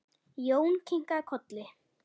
Jón kinkaði kolli.